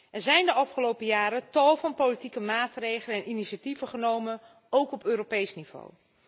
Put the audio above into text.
Er zijn de afgelopen jaren tal van politieke maatregelen en initiatieven genomen, ook op Europees niveau.